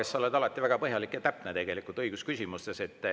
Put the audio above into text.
Sa oled alati ju väga põhjalik ja täpne õigusküsimustes.